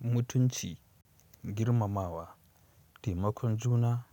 Mutunci, girmamawa, taimakon juna